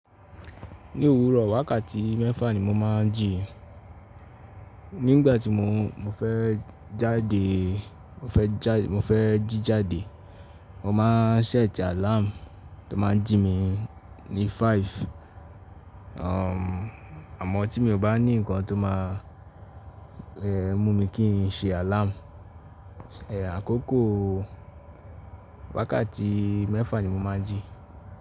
Ní òwúrọ̀ wákàtí mẹ́fà ni mo máa ń jí. Nígbà tí mo, mo fẹ́ jáde, mo fẹ́ já́, mo fẹ́ jí jáde, mo máa ṣẹ́ẹ̀tì alarm tó máa ń jí mi ní five. Umm àmọ́ tí mi ò bá ní nǹkan tó máa eeh mú mi kí n ṣe alarm, ẹ àkókò wákàtí mẹ́fà ni mo máa ń jí.